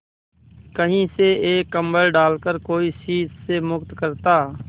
कहीं से एक कंबल डालकर कोई शीत से मुक्त करता